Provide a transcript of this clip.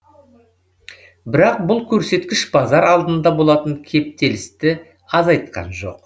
бірақ бұл көрсеткіш базар алдында болатын кептелісті азайтқан жоқ